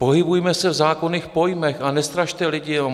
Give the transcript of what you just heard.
Pohybujme se v zákonných pojmech a nestrašte lidi.